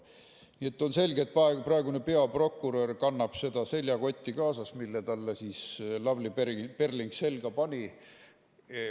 Nii et on selge, et praegune peaprokurör kannab seda seljakotti kaasas, mille talle Lavly Perling selga pani.